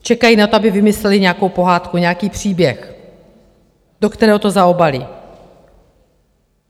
Čekají na to, aby vymysleli nějakou pohádku, nějaký příběh, do kterého to zaobalí.